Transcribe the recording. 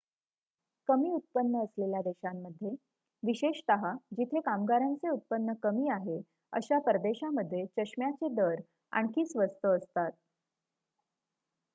कमी उत्पन्न असलेल्या देशांमध्ये विशेषतः जिथे कामगारांचे उत्पन्न कमी आहे अशा परदेशामध्ये चष्म्याचे दर आणखी स्वस्त असतात